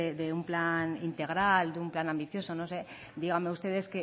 de un plan integral de un plan ambicioso no sé díganme ustedes